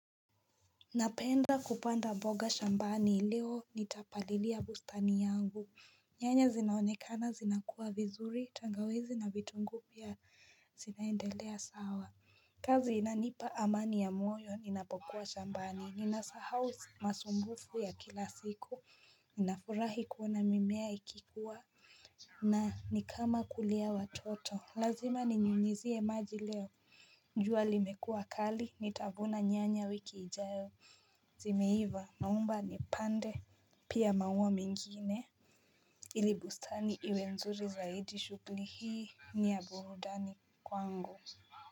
Napenda kupanda mboga shambani leo nitapalilia bustani yangu Nyanya zinaonekana zinakuwa vizuri tangawizi na vitungu pia zinaendelea sawa kazi inanipa amani ya moyo ninapokuwa shambani ninasahau masumbufu ya kila siku nafurahi kuona mimea ikikuwa na nikama kulea watoto lazima ninyunyizie maji leo jua limekuwa kali nitavuna nyanya wiki ijayo Zimeiva naomba nipande Pia maua mengine ili bustani iwe nzuri zaidi shugli hii ni ya burudani kwangu.